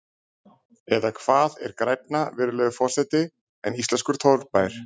Eða hvað er grænna, virðulegur forseti, en íslenskur torfbær?